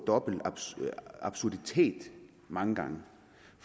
dobbelt absurditet mange gange